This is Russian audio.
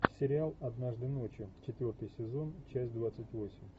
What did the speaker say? сериал однажды ночью четвертый сезон часть двадцать восемь